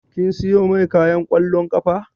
Kin siyo mai kayan ƙwallon ƙafa